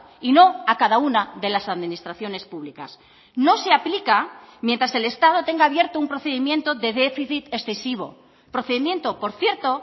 y no a cada una de las administraciones públicas no se aplica mientras el estado tenga abierto un procedimiento de déficit excesivo procedimiento por cierto